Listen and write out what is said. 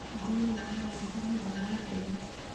Ngũrũe nĩ nyamũ ĩtameraga hĩa.